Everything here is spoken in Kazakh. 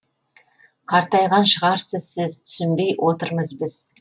қартайған шығарсыз сіз түсінбей отырмыз біз